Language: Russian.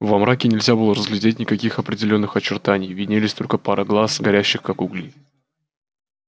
во мраке нельзя было разглядеть никаких определённых очертаний виднелись только пара глаз горящих как угли